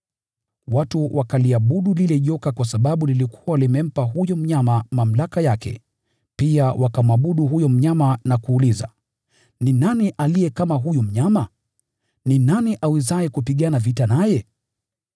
Watu wakaliabudu lile joka kwa sababu lilikuwa limempa huyo mnyama mamlaka yake, pia wakamwabudu huyo mnyama na kuuliza, “Ni nani aliye kama huyu mnyama? Ni nani awezaye kupigana vita naye?”